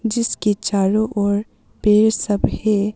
जिसके चारों ओर पेड़ सब है।